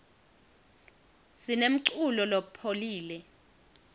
sinemculo lopholile